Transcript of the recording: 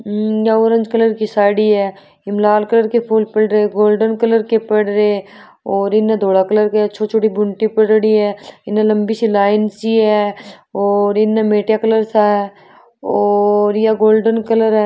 हम्म या orange colour की साड़ी है इम लाल कलर के फुल पड़े है गोल्डन कलर के पड रहे है और इने धोला कलर के छोटी छोटी बूंटी पड़ियोड़ी है इन लम्बी सी लाइन सी है और इन मेट्या कलर सा और ये गोल्डन कलर है।